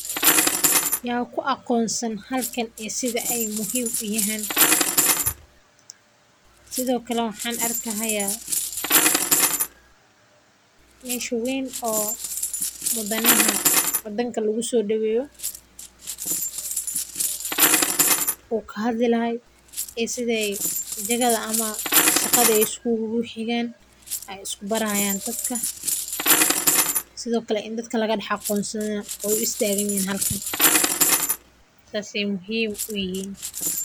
Yaa ku aqoonsan halkan iyo sida ay muhiim u yihiin sidoo kale waxan arkahaya meeshu weyn oo muddanaha oo danka lugusoo dhiibiyo. Wuxuu kahaa dilaha ee sida ay jagada ama shaqada isku xigaan ay isku barayaan dadka, sidoo kale in dadka laga dhax aqoonsana u istaagan halkeen. Taasi muhiim u yihin.